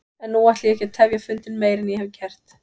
En nú ætla ég ekki að tefja fundinn meir en ég hef gert.